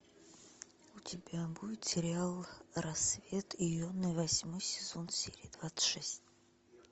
у тебя будет сериал рассвет йоны восьмой сезон серия двадцать шесть